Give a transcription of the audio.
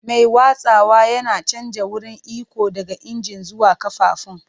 Mai watsawa yana canja wurin iko daga injin zuwa ƙafafun.